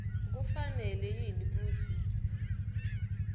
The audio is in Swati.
kufanele yini kutsi